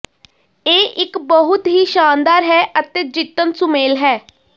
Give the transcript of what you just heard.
ਇਹ ਇੱਕ ਬਹੁਤ ਹੀ ਸ਼ਾਨਦਾਰ ਹੈ ਅਤੇ ਜਿੱਤਣ ਸੁਮੇਲ ਹੈ